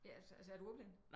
Ja altså altså er du ordblind